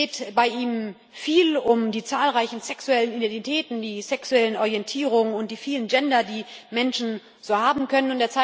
Es geht bei ihm viel um die zahlreichen sexuellen Identitäten, die sexuellen Orientierungen und die vielen Gender, die Menschen so haben können.